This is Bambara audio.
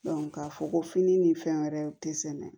k'a fɔ ko fini ni fɛn wɛrɛw te sɛnɛ